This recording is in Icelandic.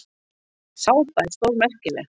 Sápa sé stórmerkileg.